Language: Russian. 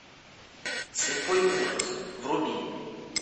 слепой ужас вруби